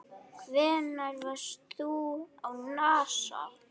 Hvenær varst þú á NASA?